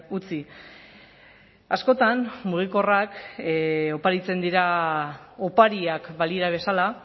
utzi askotan mugikorrak oparitzen dira opariak balira bezala